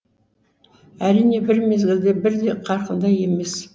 әрине бір мезгілде бірдей қарқында емес